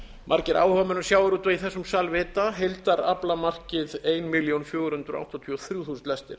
margir áhugamenn um sjávarútveg í þessum sal vita heildaraflamarkið fjórtán hundruð áttatíu og þrjú þúsund lestir